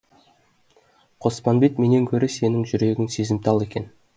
қоспанбет менен гөрі сенің жүрегің сезімтал екен